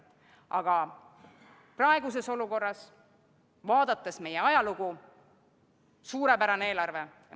Aga praeguses olukorras, vaadates meie ajalugu – suurepärane eelarve.